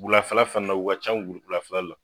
Wulafɛla fana u ka ca wulafɛlela.